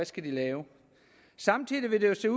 skal lave samtidig ser